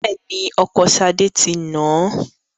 Bẹ́ẹ̀ ni, ọkọ Ṣadé ṣì ń nà á.